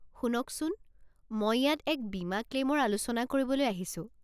শুনকচোন, মই ইয়াত এক বীমা ক্লেইমৰ আলোচনা কৰিবলৈ আহিছো।